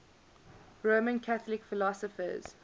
roman catholic philosophers